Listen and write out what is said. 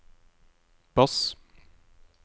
bass